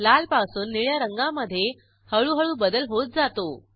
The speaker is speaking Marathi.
लाल पासून निळ्या रंगामधे हळूहळू बदल होत जातो